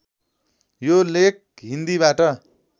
यो लेख हिन्दीबाट